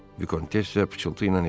Vikontessa pıçıltı ilə Ejenə dedi.